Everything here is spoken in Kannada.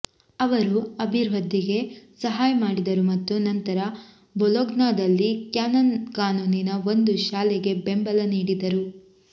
ಅವರು ಅಭಿವೃದ್ಧಿಗೆ ಸಹಾಯ ಮಾಡಿದರು ಮತ್ತು ನಂತರ ಬೊಲೊಗ್ನಾದಲ್ಲಿ ಕ್ಯಾನನ್ ಕಾನೂನಿನ ಒಂದು ಶಾಲೆಗೆ ಬೆಂಬಲ ನೀಡಿದರು